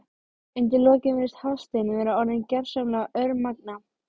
Undir lokin virðist Hafsteinn vera orðinn gersamlega örmagna.